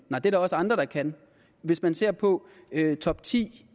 er der også andre der kan hvis man ser på topti